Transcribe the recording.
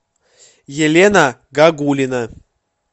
елена гагулина